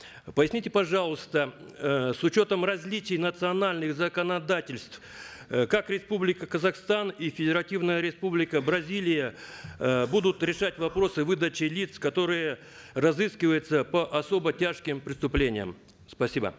поясните пожалуйста э с учетом различий национальных законодательств э как республика казахстан и федеративная республика бразилия э будут решать вопросы выдачи лиц которые разыскиваются по особо тяжким преступлениям спасибо